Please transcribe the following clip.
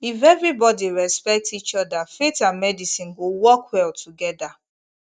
if everybody respect each other faith and medicine go work well together